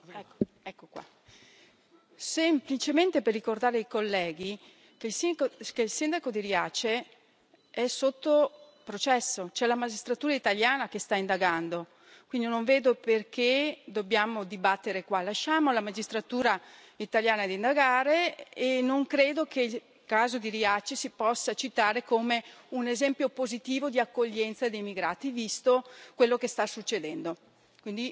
Signor Presidente, onorevoli colleghi, vorrei semplicemente ricordare ai colleghi che il sindaco di Riace è sotto processo, c'è la magistratura italiana che sta indagando, quindi non vedo perché dobbiamo dibatterne qua. Lasciamo la magistratura italiana a indagare. Non credo che il caso di Riace si possa citare come un esempio positivo di accoglienza di immigrati, visto quello che sta succedendo.